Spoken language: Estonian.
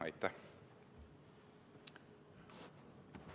Aitäh!